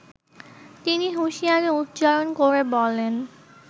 তিনি হুশিয়ারী উচ্চারন করে বলেন